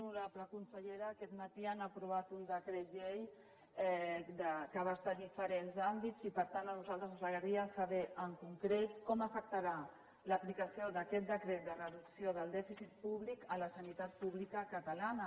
honorable consellera aquest matí han aprovat un decret llei que abasta diferents àmbits i per tant a nosaltres ens agradaria saber en concret com afectarà l’aplicació d’aquest decret de reducció del dèficit públic la sanitat pública catalana